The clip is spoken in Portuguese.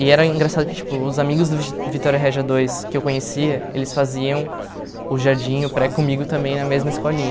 E era engraçado que tipo os amigos do Vitória Regia dois que eu conhecia, eles faziam o jardim, o pré comigo também na mesma escolinha.